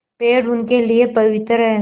पेड़ उनके लिए पवित्र हैं